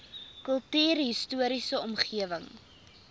kultuurhis toriese omgewing